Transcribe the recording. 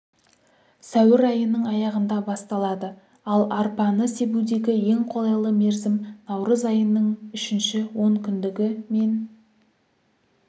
сәуір айының аяғында басталады ал арпаны себудегі ең қолайлы мерзім наурыз айының үшінші онкүндігі мен